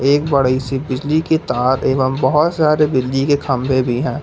एक बड़ी सी बिजली की तार एवं बहोत सारे बिजली के खंभे भी हैं।